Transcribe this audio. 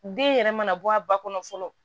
Den yɛrɛ mana bɔ a ba kɔnɔ fɔlɔ